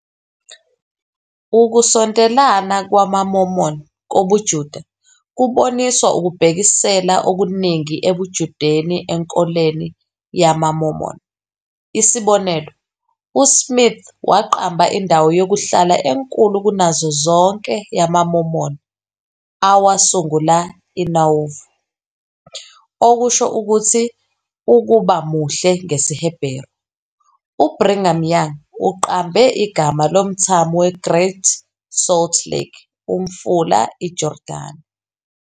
Ukusondelana kwamaMormon kobuJuda kuboniswa ukubhekisela okuningi ebuJudeni enkolweni yamaMormon. Isibonelo, uSmith waqamba indawo yokuhlala enkulu kunazo zonke yamaMormon "awasungula iNauvoo", okusho ukuthi "ukuba muhle" ngesiHeberu. UBrigham Young uqambe igama lomthamo weGreat Salt Lake " uMfula iJordani ".